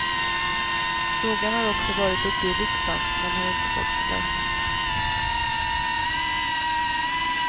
Frågan har också varit uppe i riksdagen men inte fått sin lösning.